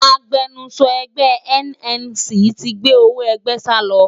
Agbẹnusọ ẹgbẹ́e NNC ti gbé owó ẹgbẹ́ salọ